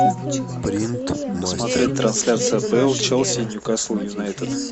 посмотреть трансляцию апл челси ньюкасл юнайтед